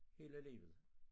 Hele livet